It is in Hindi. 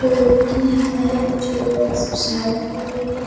वो लड़की है जो एक्सरसाइज कर रही है।